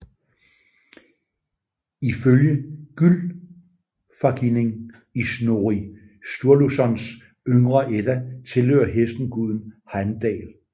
Ifølge Gylfaginning i Snorri Sturlusons Yngre Edda tilhører hesten guden Hejmdal